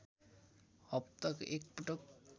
हप्ताको एक पटक